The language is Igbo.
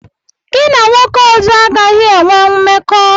Gị na nwoke ọzọ agaghị enwe mmekọ!